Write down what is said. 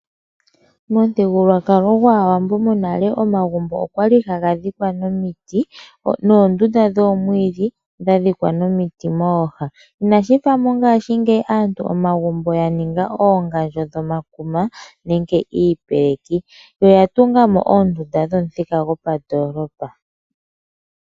Momuthigululwakalo gwAawambo monale omagumbo okwali haga dhikwa niiti noondunda dhoomwiidhi dha dhikwa niiti mooha, inashi fa mongashingeyi aantu omagumbo ya ninga oongandjo dhomakuma nenge iipeleki yo oya tunga mo oondunda dhopamuthika gwandoolopa.